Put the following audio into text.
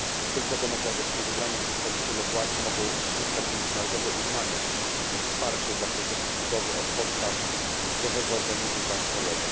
Tylko demokratycznie wybrani przedstawiciele władz mogą zyskać międzynarodowe uznanie i wsparcie dla procesu budowy od podstaw zdrowego organizmu państwowego.